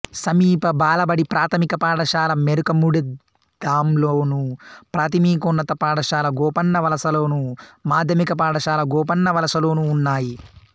సమీప బాలబడి ప్రాథమిక పాఠశాల మెరకముడిదాంలోను ప్రాథమికోన్నత పాఠశాల గోపన్నవలసలోను మాధ్యమిక పాఠశాల గోపన్నవలసలోనూ ఉన్నాయి